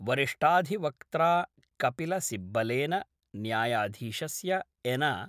वरिष्ठाधिवक्त्रा कपिलसिब्बलेन न्यायाधीशस्य एन .